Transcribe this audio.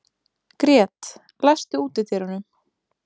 Grét, læstu útidyrunum.